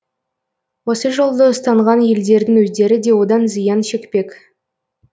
осы жолды ұстанған елдердің өздері де одан зиян шекпек